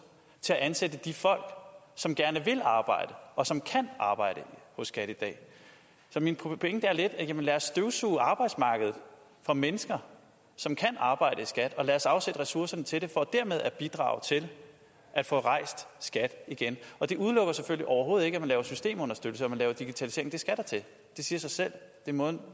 til at ansætte de folk som gerne vil arbejde og som kan arbejde hos skat i dag så min pointe er lidt jamen lad os støvsuge arbejdsmarkedet for mennesker som kan arbejde i skat og lad os afsætte ressourcerne til det for dermed at bidrage til at få rejst skat igen og det udelukker selvfølgelig overhovedet ikke at man laver systemunderstøttelse eller at man laver digitalisering det skal der til det siger sig selv det er måden